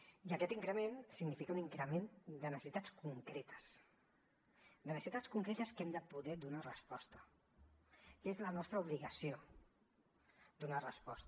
i aquest increment significa un increment de necessitats concretes de necessitats concretes a les quals hem de poder donar resposta que és la nostra obligació donar hi resposta